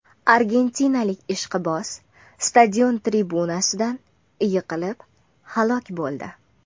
Argentinalik ishqiboz stadion tribunasidan yiqilib halok bo‘ldi.